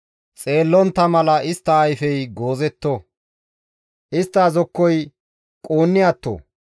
Xeellontta mala istta ayfey goozetto; istta zokkoy quunni atto.